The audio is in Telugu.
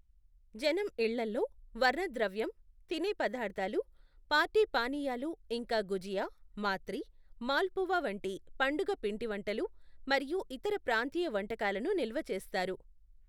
జనం ఇళ్ళల్లో వర్ణద్రవ్యం, తినేపదార్థాలు, పార్టీ పానీయాలు, ఇంకా గుజియా, మాత్రి, మాల్పువా వంటి పండుగ పిండివంటలు మరియు ఇతర ప్రాంతీయ వంటకాలను నిల్వ చేస్తారు.